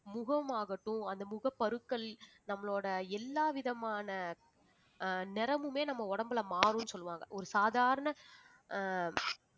முகமாகட்டும் அந்த முகப்பருக்கள் நம்மளோட எல்லாவிதமான ஆஹ் நிறமுமே நம்ம உடம்புல மாறும்னு சொல்லுவாங்க ஒரு சாதாரண ஆஹ்